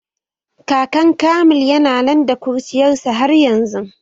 Kakan Kamil yana nan da kuruciyar sa har yanzu